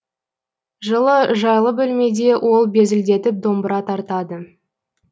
жылы жайлы бөлмеде ол безілдетіп домбыра тартады